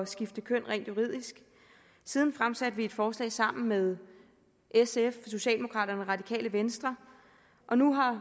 skifte køn rent juridisk siden fremsatte vi et forslag sammen med sf socialdemokraterne og radikale venstre og nu har